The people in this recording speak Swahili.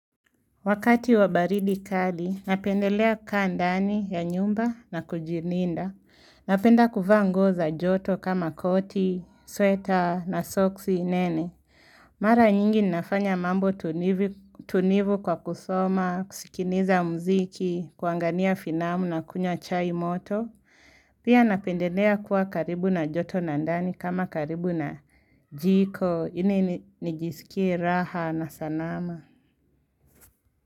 Wakati wabaridi kali, napendelea kukaa ndani ya nyumba na kujininda. Napenda kuvaa nguo za joto kama koti, sweta na soksi nene. Mara nyingi ninafanya mambo tunivu kwa kusoma, kusikiniza mziki, kuangania finamu na kunywa chai moto. Pia napendelea kuwa karibu na joto na ndani kama karibu na jiko, ini nijisikie raha na sanama.